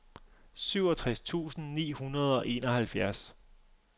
syvogtres tusind ni hundrede og enoghalvfjerds